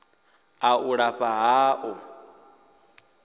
a u lafha ha u